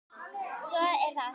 Svo er það hitt.